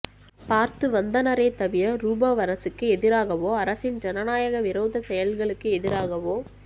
பார்த்துவந்தனரே தவிரரூபவ் அரசுக்கு எதிராகவோ அரசின் ஜனநாயக விரோத செயல்களுக்கு எதிராகவோ